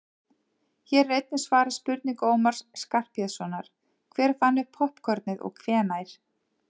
hér er einnig svarað spurningu ómars skarphéðinssonar „hver fann upp poppkornið og hvenær“